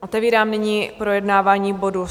Otevírám nyní projednávání bodu